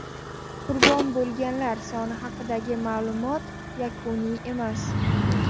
Qurbon bo‘lganlar soni haqidagi ma’lumot yakuniy emas.